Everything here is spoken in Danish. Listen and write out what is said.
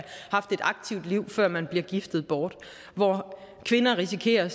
haft et aktivt liv før man bliver giftet bort kvinder risikerer